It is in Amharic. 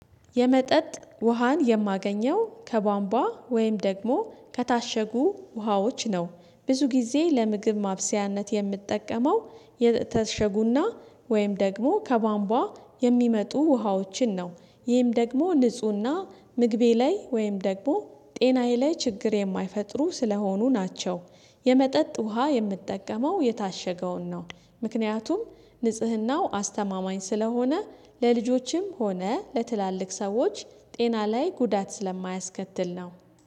የመጠጥ ውሃን የማገኘው ከቧንቧ ወይም ደግሞ ከታሸጉ ውሃዎች ነው ብዙ ጊዜ ለምግብ ማብሰያነት የምጠቀመው የተሸጉና ወይም ደግሞ ከባምቧ የሚመጡ ውሃዎችን ነው። ይህም ደግሞ ንፁህና ምግቤ ላይ ወይም ደግሞ ጤናዬ ላይ ችግር የማይፈጥሩ ስለሆኑ ናቸው። የመጠጥ ውሃ የምትጠቀመው የታሸገውን ነው ምክንያቱም ንጽህናው አስተማማኝ ስለሆነ ለልጆችም ሆነ ለትላልቅ ሰዎች ጤና ላይ ጉዳት ስለማያስከትል ነው።